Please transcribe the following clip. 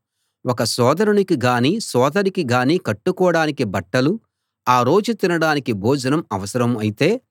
ఒక సోదరునికి గాని సోదరికి గాని కట్టుకోడానికి బట్టలు ఆ రోజు తినడానికి భోజనం అవసరం అయితే